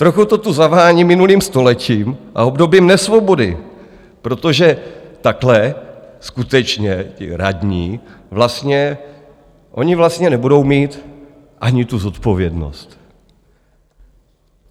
Trochu to tu zavání minulým stoletím a obdobím nesvobody, protože takhle skutečně ti radní vlastně, oni vlastně nebudou mít ani tu zodpovědnost.